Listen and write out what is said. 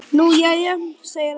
Nú jæja segir hann.